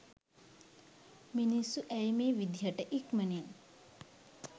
මිනිස්සු ඇයි මේ විදියට ඉක්මනින්